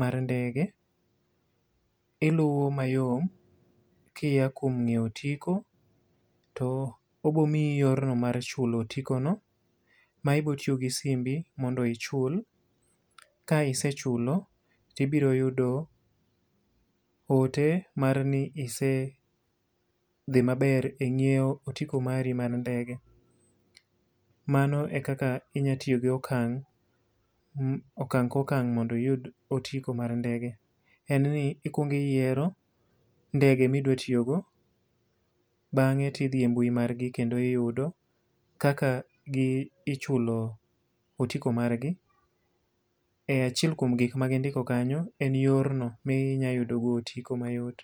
mar ndege. Iluwo mayom kiya kuom nyiewo otiko to obomii yorno mar chulo otikono, ma ibiro tiyo gi simbi mondo ichul. Ka isechulo to ibiro yudo ote mar ni isedhi maber e nyiewo otiko mari mar ndege. Mano e kaka inyalo tiyo gi okang', okang' ka okang' mondo iyud otiko mar ndege. En ni ikuongo iyiero ndege ma idwa tiyogo, bangé to idhi e mbui margi, kendo iyudo, kaka ichulo otiko margi, e achiel kuom gik ma gindiko kanyo en yor no ma inyalo yudo go otiko mayot.